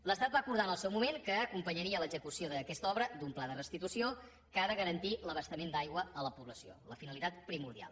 l’estat va acordar en el seu moment que acompanyaria l’execució d’aquesta obra d’un pla de restitució que ha de garantir l’abastament d’aigua a la població la finalitat primordial